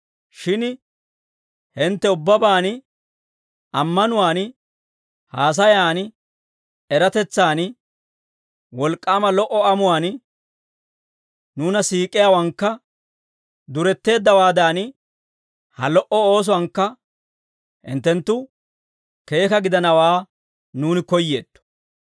Shin hintte ubbabaan, ammanuwaan, haasayan, eratetsan, wolk'k'aama lo"o amuwaan, nuuna siik'iyaawankka duretteeddawaadan, ha lo"o oosuwaankka hinttenttu keeka gidanawaa nuuni koyyeetto.